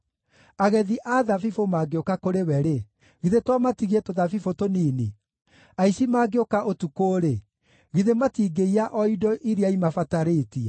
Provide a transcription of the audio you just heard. Agethi a thabibũ mangĩũka kũrĩ we-rĩ, githĩ to matigie tũthabibũ tũnini? Aici mangĩũka ũtukũ-rĩ, githĩ matingĩiya o indo iria imabatarĩtie?